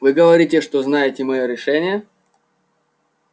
вы говорите что знаете моё решение